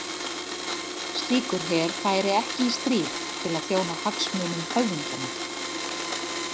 Slíkur her færi ekki í stríð til að þjóna hagsmunum höfðingjanna.